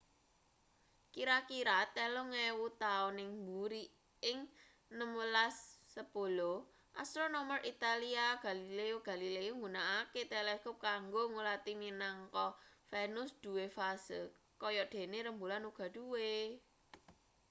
kira-kira telung ewu taun ing buri ing 1610 astronomer italia galileo galilei nggunakake teleskop kanggo ngulati minangka venus duwe fase kaya dene rembulan uga duwe